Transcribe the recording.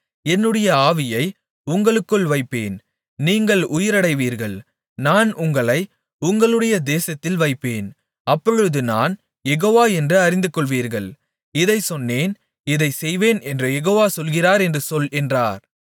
என்னுடைய ஆவியை உங்களுக்குள் வைப்பேன் நீங்கள் உயிரடைவீர்கள் நான் உங்களை உங்களுடைய தேசத்தில் வைப்பேன் அப்பொழுது நான் யெகோவா என்று அறிந்துகொள்வீர்கள் இதைச் சொன்னேன் இதைச் செய்வேன் என்று யெகோவா சொல்லுகிறார் என்று சொல் என்றார்